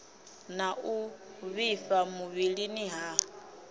na u vhifha muvhilini ha